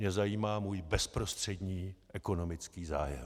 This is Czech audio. Mě zajímá můj bezprostřední ekonomický zájem.